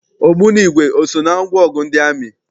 Ogbunigwe eso na ngwaọgụ ndị amị?